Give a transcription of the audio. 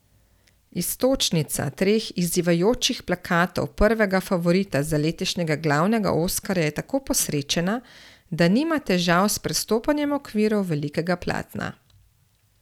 Iztočnica treh izzivajočih plakatov prvega favorita za letošnjega glavnega oskarja je tako posrečena, da nima težav s prestopanjem okvirov velikega platna.